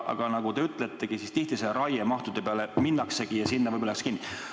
Aga nagu te ütletegi, tihti just raiemahtude peale minnaksegi ja sinna võib-olla jäädakse kinni.